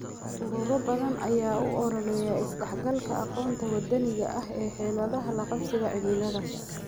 Ururo badan ayaa u ololeeya is dhexgalka aqoonta wadaniga ah ee xeeladaha la qabsiga cimilada.